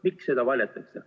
Miks seda varjatakse?